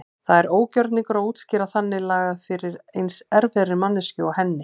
Það er ógjörningur að útskýra þannig lagað fyrir eins erfiðri manneskju og henni.